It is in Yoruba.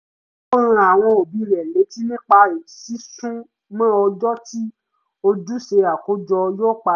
ó rán àwọn òbí rẹ̀ létí nípa sísúnmọ́ ọjọ́ tí ojúṣe àkójọ yóò parí